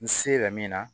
N se la min na